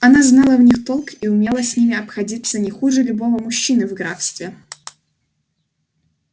она знала в них толк и умела с ними обходиться не хуже любого мужчины в графстве